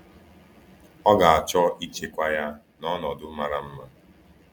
Ọ ga-achọ ịchekwa ya n’ọnọdụ mara mma.